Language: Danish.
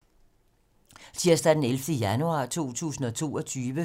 Tirsdag d. 11. januar 2022